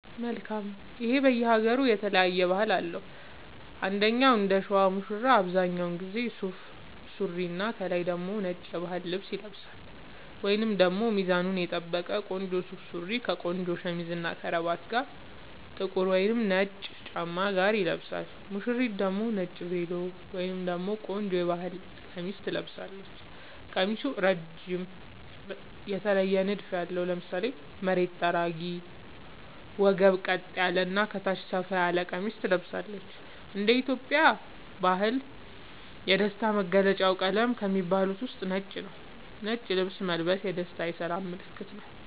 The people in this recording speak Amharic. መልካም ይሄ በየ ሃገሩ የተለያየ ባህል አለው እንደኛ እንደሸዋ ሙሽራው አብዛኛውን ጊዜ ሱፍ ሱሪና ከላይ ደግሞ ነጭ የባህል ልብስ ይለብሳልወይንም ደግሞ ሚዛኑን የጠበቀ ቆንጆ ሱፍ ሱሪ ከቆንጆ ሸሚዝ እና ከረባት ጋር ጥቁር ወይም ነጭ ጫማ ጋር ይለብሳል ሙሽሪት ደግሞ ነጭ ቬሎ ወይም ደግሞ ቆንጆ የባህል ቀሚስ ትለብሳለች ቀሚሱ እረጅም የተለየ ንድፍ ያለው ( ለምሳሌ መሬት ጠራጊ ወገብ ቀጥ ያለ እና ከታች ሰፋ ያለ ቀሚስ ትለብሳለች )እንደ ኢትዮጵያ ባህል የደስታ መገልውጫ ቀለም ከሚባሉት ውስጥ ነጭ ነዉ ነጭ ልብስ መልበስ የደስታ የሰላም ምልክትም ነዉ